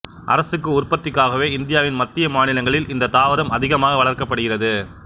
அரக்கு உற்பத்திக்காகவே இந்தியாவின் மத்திய மாநிலங்களில் இந்தத் தாவரம் அதிகமாக வளர்க்கப்படுகிறது